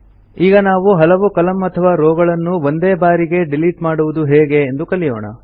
ಈಗ ನಾವು ಹಲವು ಕಾಲಮ್ನ ಅಥವಾ ರೋವ್ ಗಳನ್ನು ಒಂದೇ ಬಾರಿಗೆ ಡಿಲಿಟ್ ಮಾಡುವುದು ಹೇಗೆ ಎಂದು ಕಲಿಯೋಣ